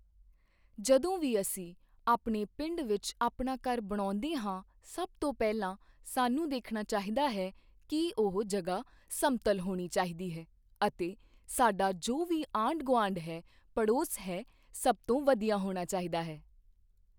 ਜਦੋਂ ਵੀ ਅਸੀਂ ਆਪਣੇ ਪਿੰਡ ਵਿੱਚ ਆਪਣਾ ਘਰ ਬਣਾਉਂਦੇ ਹਾਂ ਸਭ ਤੋਂ ਪਹਿਲਾਂ ਸਾਨੂੰ ਦੇਖਣਾ ਚਾਹੀਦਾ ਹੈ ਕਿ ਉਹ ਜਗ੍ਹਾ ਸਮਤਲ ਹੋਣੀ ਚਾਹੀਦੀ ਹੈ ਅਤੇ ਸਾਡਾ ਜੋ ਵੀ ਆਂਢ ਗੁਆਂਢ ਹੈ ਪੜੋਸ ਹੈ ਸਭ ਤੋਂ ਵਧੀਆ ਹੋਣਾ ਚਾਹੀਦਾ ਹੈ